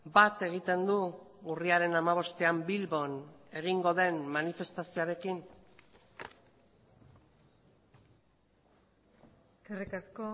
bat egiten du urriaren hamabostean bilbon egingo den manifestazioarekin eskerrik asko